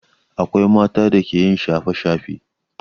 Akwai mata da ke yin shafe-shafe.